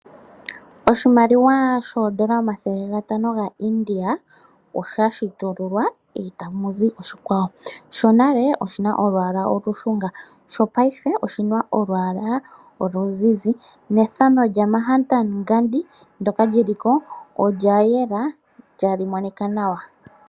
Oshimaliwa shoondola omathele ga ntano ga India osha shitululwa eta muzi oshikwawo. Shonale oshina olwaala olushunga sho paife oshina olwaala oluzizi. Nethano lya Mahatma Gandhi ndyoka liliko olya yela tali monika nawa.